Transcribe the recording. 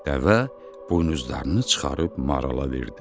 Dəvə buynuzlarını çıxarıb marala verdi.